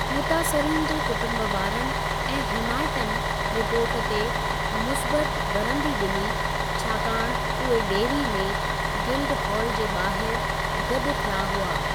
मुतासरीन जे कुटुंबवारनि ऐं हिमायतनि रिपोर्ट ते मुसबतु वरंदी डि॒नी, छाकाणि उहे डेरी में गिल्डहॉल जे बा॒हिरि गॾु थिया हुआ।